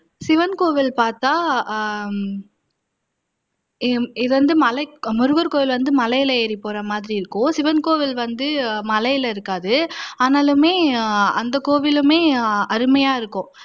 சிவன் கோவில் பாத்தா ஹம் இது வந்து மலை முருகர் கோவில் வந்து மலைல ஏறி போறமாதிரி இருக்கும் சிவன் கோவில் வந்து மலைல இருக்காது ஆனாலுமே அந்த கோவிலுமே அருமையா இருக்கும்